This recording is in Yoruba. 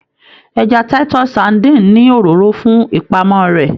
Ẹja Titus sardine ni òróró fún ìpamọ rẹ.